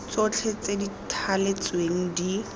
tsotlhe tse di thaletsweng di